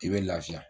I bɛ lafiya